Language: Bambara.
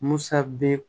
Musa bɛ